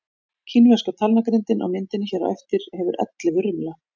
Kínverska talnagrindin á myndinni hér á eftir hefur ellefu rimla.